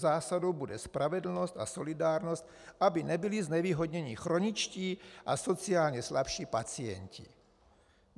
Zásadou bude spravedlnost a solidárnost, aby nebyli znevýhodněni chroničtí a sociálně slabší pacienti.